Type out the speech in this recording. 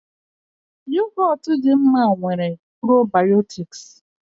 Yogotu dị mma nwere probiotics